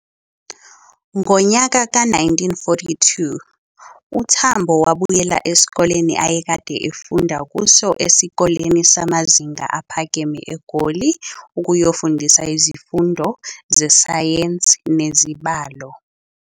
Ngonyaka ka-1942, uTambo wabuyela esikoleni ayekade efunda kuso esikoleni samazinga aphakeme eGoli ukuyofundisa izifundo zesayensi nezibalo.